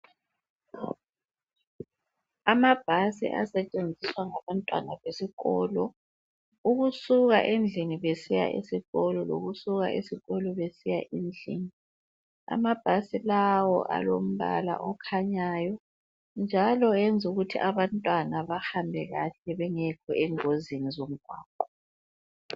Amabhasi asetshenziswa ngabantwana besikolo ukusuka endlini besiya esikolo lokusuka esikolo besiya endlini. Amabhasi lawo alombala okhanyayo njalo ayenza ukuthi abantwana bahambe kahle bengekho engozini zomgwaqo.